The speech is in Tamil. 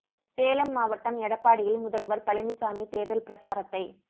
சேலம் மாவட்டம் எடப்பாடியில் முதல்வர் பழனிசாமி தேர்தல் பிரசாரத்தை